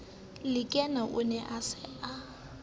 lekena o ne a sa